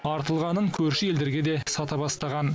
артылғанын көрші елдерге де сата бастаған